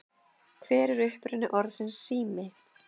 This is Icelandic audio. Hver er uppruni orðsins sími?